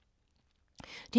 DR P2